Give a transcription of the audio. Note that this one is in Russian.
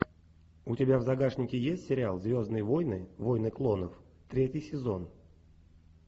у тебя в загашнике есть сериал звездные войны войны клонов третий сезон